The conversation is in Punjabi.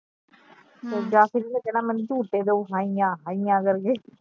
ਫਿਰ ਜਾ ਇਹਨੇ ਫਿਰ ਕਹਿਣਾ ਮੇਨੂ ਝੂਟੇ ਦੋ ਹਾਈਆ ਹਾਈਆ ਕਰਕੇ